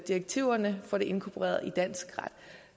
direktiverne får det inkorporeret i dansk ret